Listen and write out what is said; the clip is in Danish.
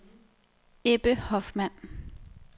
Ebbe Hoffmann